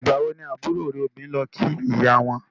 Ìgbà wo ni àbúrò ẹ obìnrin lọ kí ìyá wọn?